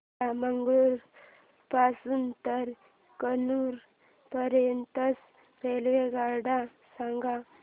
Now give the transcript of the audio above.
मला मंगळुरू पासून तर कन्नूर पर्यंतच्या रेल्वेगाड्या सांगा